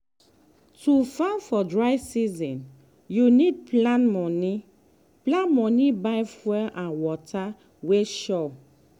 to farm for dry season you need plan money plan money buy fuel and water wey sure.